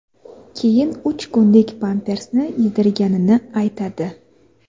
keyin uch kunlik pampersni yedirganini aytadi.